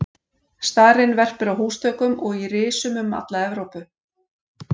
Starinn verpir á húsþökum og í risum um alla Evrópu.